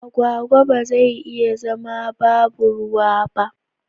Agwagwa ba zai iya zama babu ruwa ba